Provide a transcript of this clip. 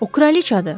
O kraliçadır.